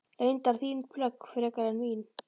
Reyndar þín plögg frekar en mín.